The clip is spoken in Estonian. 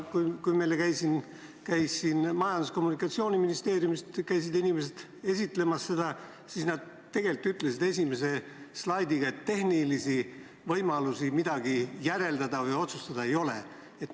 Kui meil siin Majandus- ja Kommunikatsiooniministeeriumi inimesed seda esitlemas käisid, siis nad tegelikult ütlesid esimese slaidiga, et tehnilisi võimalusi midagi järeldada või otsustada ei ole.